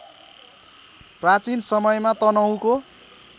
प्राचीन समयमा तनहुँको